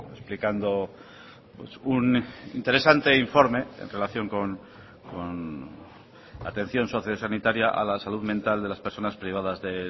explicando un interesante informe en relación con la atención socio sanitaria a la salud mental de las personas privadas de